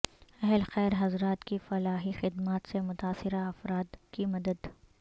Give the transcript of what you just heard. اہل خیر حضرات کی فلاحی خدمات سے متاثرہ افراد کی مدد